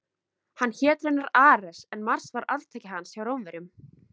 Hann hét raunar Ares en Mars var arftaki hans hjá Rómverjum.